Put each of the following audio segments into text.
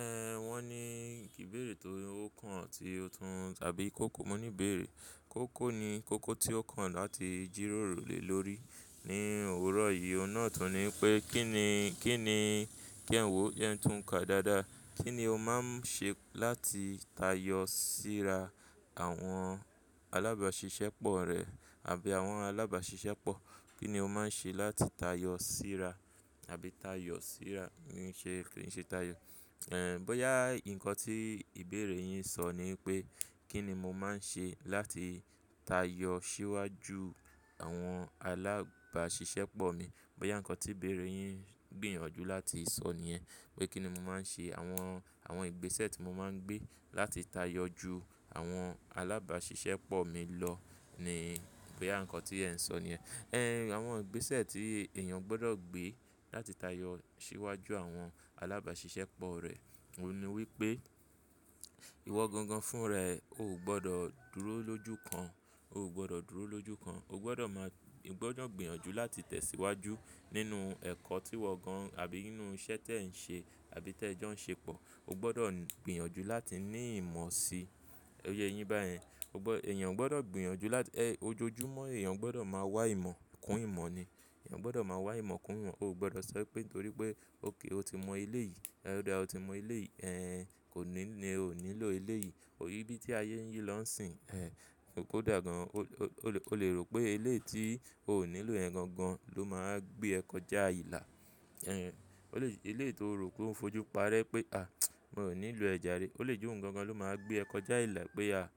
Ẹn, wọ́n ní ìbéèrè tó kàn tí ó tún tàbí kò kò mọ ní ìbéèrè. Kò kò ni kò kò tí ó kàn láti jíró rò lé lórí. Ní òwúrọ̀ yìí, ọ̀nà tuntun ni pé kí ni, kí ni kí jẹ̀ n wọ̀ jẹ n tún ka dáadáa. Kí ni o máa ń ṣe láti tayọ síra àwọn alábàáṣiṣẹ́ pọ̀ rẹ àbí àwọn alábàáṣiṣẹ́ pọ̀? Kí ni o máa ń ṣe láti tayọ síra àbí tayọ síra ní ṣe, kí ni ṣe tayọ? Ẹn, bóyá nǹkan tí ìbéèrè yín sọ ni pé kí ni mo máa ń ṣe láti tayọ síwájú àwọn alábàáṣiṣẹ́ pọ̀ mi. Bóyá nǹkan tí ìbéèrè yín gbìyànjú láti sọ nìyẹn pé kí ni mo máa ń ṣe àwọn, àwọn ìgbésẹ̀ tí mo máa ń gbé láti tayọ ju àwọn alábàáṣiṣẹ́ pọ̀ mi lọ ni bóyá ǹkọ́ tí ẹ̀ ń sọ nìyẹn. Ẹn, àwọn ìgbésẹ̀ tí èèyàn gbọdọ̀ gbé láti tayọ síwájú àwọn alábàáṣiṣẹ́ pọ̀ rẹ̀, òun ni wípé ìwọ gangan fún rẹ̀, o ò gbọdọ̀ dúró lójúkan, o ò gbọdọ̀ dúró lójúkan. O gbọdọ̀ máa, o gbọdọ̀ gbìyànjú láti tẹ̀síwájú nínú ẹ̀kọ́ tí wọ gan-an àbí nínú iṣẹ́ tí ẹ ń ṣe àbí tí ẹ jọ ń ṣe pọ̀. O gbọdọ̀ gbìyànjú láti ní ìmọ̀ sí, ó yé yin bá yẹn. O gbọ́, èèyàn gbọdọ̀ gbìyànjú láti, ẹ, ojoojúmọ́ èèyàn gbọdọ̀ máa wá ìmọ̀ kún ìmọ̀ ni. Ẹ̀yàn gbọdọ̀ máa wá ìmọ̀ kún ìmọ̀, o ò gbọdọ̀ sọ pé nítorí pé o kì í, o ti mọ ilé yìí, ẹ́ o da o ti mọ elé yìí, ẹn, kò ní ní, o ò nílò ilé yìí. O rí bí tí ayé ń yí lọ́ǹsìn, ẹn, kó ó dá gan-an. O le, o le rò pé eléyìí tí o ò nílò rẹ̀ gan-an ló máa gbé ẹ kọjá ilà. Ẹn, ó lè, eléyiii tí o rò pé ó ń fojú parẹ́ pé à, mo ò nílò ẹ̀ járe. O lè jé òun gan-an ló máa gbé ẹ kọjá ìlà pé à,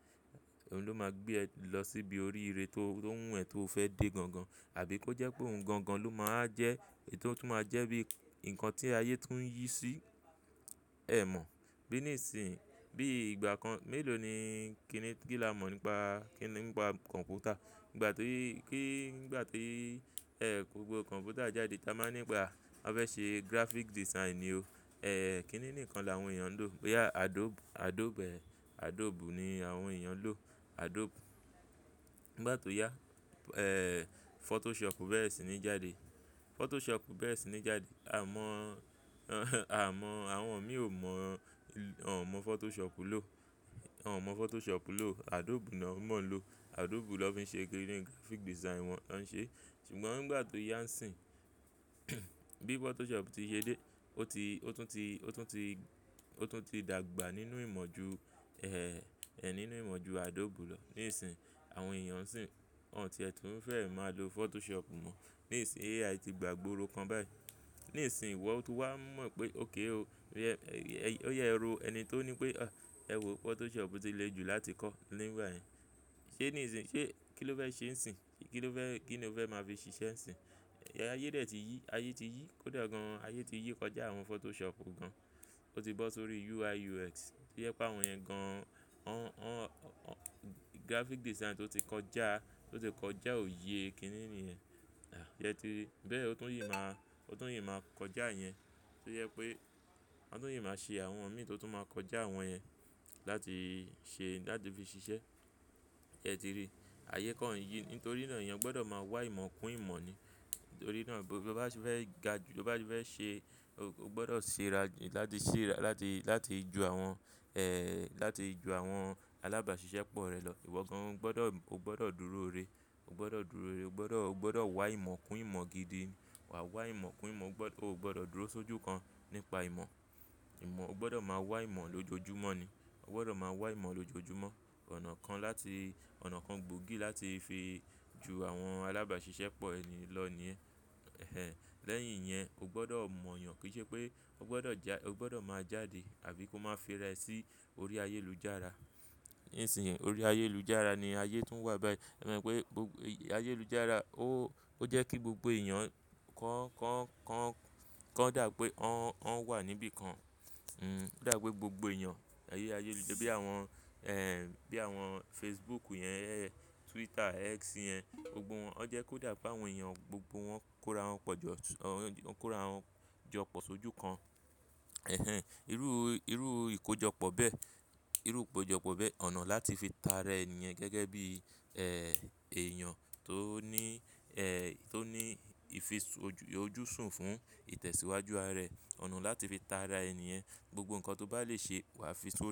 òun ló máa gbé ẹ lọ síbi orí ire tó, tó wù ẹ́ tó fẹ́ dé gan-an. Àbí kó jẹ́ pé òun gan-an ló máa jẹ́ ètò tó máa jẹ́ bí nǹkan tí ayé tún ń yí sí ẹ mọ̀. Bí níìsín, bí ìgbà kan mélòó ni kí ni, kí la mọ̀ nípa, kí ni nípa kọ̀m̀pútà. Nígbà tí rí, kí, nígbà tí ẹ́ gbogbo kọ̀m̀pútà jáde, ta máa nípa, a fẹ́ ṣe graphic design ni o. Ẹ́n, kí ni nǹkan làwọn èèyàn ń lò? Bóyá Adobe, Adobe, Adobe ni àwọn èèyàn ń lò. Adobe. Nígbà tó yá, ẹ̀, Photoshop bẹ́ẹ̀ sì ní jáde. Photoshop bẹ́ẹ̀ sì ní jáde. À mọ̀, à mọ̀, àwọn mi ò mọ̀, à mọ̀ Photoshop lò. Won o mọ̀ Photoshop lò. Adobe náà mọ̀ ń lò. Adobe ló fi ṣe graphic design wọn, wọ́n ń ṣe. Ṣùgbọ́n nígbà tó yá ǹsìn, bí Photoshop ti ṣe dé, ó ti, ó tún ti, ó tún ti, ó tún ti dàgbà nínú ìmọ̀ ju, ẹ́, ẹ́ nínú ìmọ̀ ju Adobe lọ. Nísìnyìí, àwọn èèyàn sì ń, àwọn tí ẹ tún fẹ́ ẹ máa lo Photoshop mọ̀. Nísìnyìí AI ti gbàgbóoro kan báyìí. Nísìnyìí ìwọ tó wá mọ̀ pé okay o, ó yẹ, ó ya ẹ ro ẹni tó ní pé à, ẹ wò Photoshop ti le jù láti kọ́ nígbà yẹn. Ṣé níìsín, ṣé kí ló fẹ́ ṣe ǹsìn? Kí ló fẹ́, kí ni o fẹ́ máa fi ṣiṣẹ́ ǹsìn? Ayé dè tí yí, ayé ti yí, kódà gan-an ayé ti yí kọjá àwọn Photoshop gan-an. Ó ti bọ́ sórí UIUX. Ó jé pé àwọn yẹn gan-an, wọ́n, wọ́n, wọ́n graphic design tó ti kọjá, tó ti kọjá òye kí ni níyẹn. À, yẹn ti rí. Bẹ́ẹ̀ ó tún yín máa, ó tún yín máa kọjá yẹn. Ó yẹ pé àwọn tó yín máa ṣe àwọn mí tó tún máa kọjá àwọn yẹn láti ṣe, láti fi ṣiṣẹ́. Yẹn ti rí. Ayé kan ń yí, nítorí náà èèyàn gbọdọ̀ máa wá ìmọ̀ kún ìmọ̀ ni. Nítorí náà bó bá fẹ́ ga ju, bó bá fẹ́ ṣe, o gbọdọ̀ ṣe ra ju, láti ṣe ra, láti, láti ju àwọn, ẹ́, láti ju àwọn alábàáṣiṣẹ́ pọ̀ rẹ lọ. Ìwọ gan-an o gbọdọ̀, o gbọdọ̀ dúró ire. O gbọdọ̀ dúró ire. O gbọdọ̀, o gbọdọ̀ wá ìmọ̀ kún ìmọ̀ gidi. Wà awá ìmọ̀ kún ìmọ̀. O gbọdọ̀, o gbọdọ̀ dúró sójú kan nípa ìmọ̀. Ìmọ̀, o gbọdọ̀ máa wá ìmọ̀ lójoojúmọ́ ni. O gbọdọ̀ máa wá ìmọ̀ lójoojúmọ́. Ọ̀nà kan láti, ọ̀nà kan gbòógì láti fi ju àwọn alábàáṣiṣẹ́ pọ̀ ẹni lọ ni ẹ́. Ẹ̀hen. Lẹ́yìn yẹn, o gbọdọ̀ mọ̀ yàn kí i ṣe pé o gbọdọ̀ já, o gbọdọ̀ máa jáde àbí kó máa fi rẹ sí orí ayélujára. Nísìnyìí orí ayélujára ni ayé tún ń wà báyìí. O mọ wípé gbogbo ayélujára ó, ó jẹ́ kí gbogbo èèyàn kan, kan, kan, kan dà pé wọ́n, wọ́n wà níbí kan. Hmm, ó dà pé gbogbo èèyàn, ayé ayélujára bí àwọn, ẹ́, bí àwọn Facebook yẹn, Twitter, X yẹn, gbogbo wọn, ó jẹ́ kó dà pé àwọn èèyàn gbogbo wọn kóra wọn pọ̀ jọ, ó kóra wọn jọ pọ̀ sójú kan. Ẹ̀hen. Irú, irú ìkójọpọ̀ bẹ́ẹ̀, irú ìkójọpọ̀ bẹ́ẹ̀ ọ̀nà láti fi ta rẹ nìyẹn gẹ́gẹ́ bí, ẹ́, èèyàn tó ní, ẹ́, tó ní ìfisù ojú, ojúṣùn fún ìtẹ̀síwájú ara rẹ̀. Ọ̀nà láti fi ta ara ẹni yẹn, gbogbo nǹkan tó bá lè ṣe, wà á fi sọ.